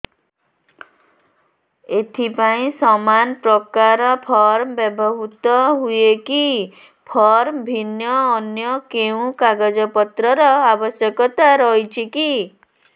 ଏଥିପାଇଁ ସମାନପ୍ରକାର ଫର୍ମ ବ୍ୟବହୃତ ହୂଏକି ଫର୍ମ ଭିନ୍ନ ଅନ୍ୟ କେଉଁ କାଗଜପତ୍ରର ଆବଶ୍ୟକତା ରହିଛିକି